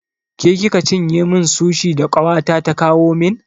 Ke kika cinye min sushi da ƙawata ta kawo min?